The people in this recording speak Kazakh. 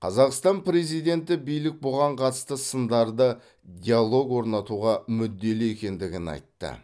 қазақстан президенті билік бұған қатысты сындарды диалог орнатуға мүдделі екендігін айтты